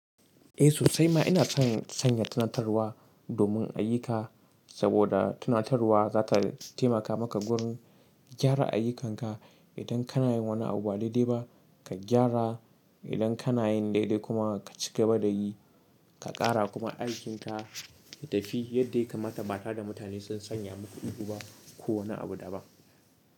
Eh sosai ma ina son sanya tunatarwa domin ayyuka, saboda tunatarwa za ta taimaka maka wurin gyara ayyukanka. Idan kana yin wani abu ba daidai ba, ka gyara. Idan kana yin daidai kuma ka cigaba da yi, ka ƙara kuma aikinka ya tafi yadda yakamata ba tare da mutane sun sanya muku ido ba ko wani abu da ba.